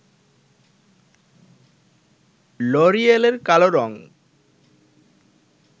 লরিয়েলের কালো রঙ